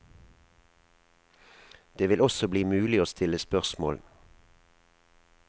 Det vil også bli mulig å stille spørsmål.